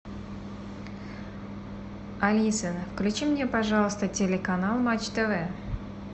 алиса включи мне пожалуйста телеканал матч тв